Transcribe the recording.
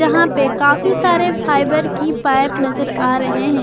यहां पे काफी सारे फाइबर की पाइप नजर आ रहे है।